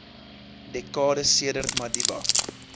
dekades sedert madiba